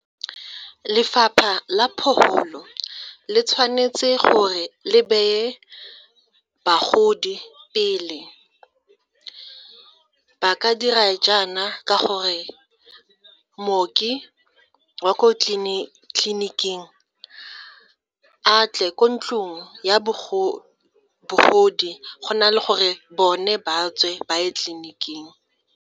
Lefapha la le tshwanetse gore le beye bagodi pele, ba ka dira jaana ka gore mmoki wa ko tleliniking a tle ko ntlong ya bogodi go na le gore bone ba tswe ba ye tleliniking.